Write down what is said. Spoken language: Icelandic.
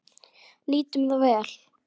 Nýtum það vel.